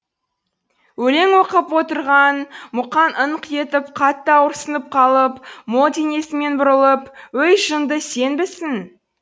өлең оқып отырған мұқаң ыңқ етіп қатты ауырсынып қалып мол денесімен бұрылып өй жынды сенбісің